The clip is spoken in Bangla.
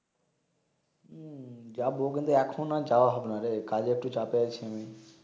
হম যাব কিন্তু এখন আর যাওয়া হবে না কাজের একটু চাপ আছি আমি